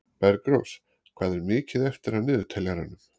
Bergrós, hvað er mikið eftir af niðurteljaranum?